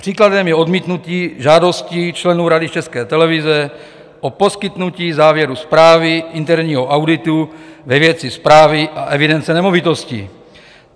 Příkladem je odmítnutí žádostí členů Rady České televize o poskytnutí závěru zprávy interního auditu ve věci správy a evidence nemovitostí.